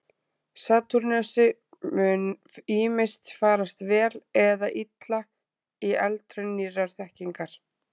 Satúrnusi mun ýmist farast vel eða illa í eldraun nýrrar þekkingar.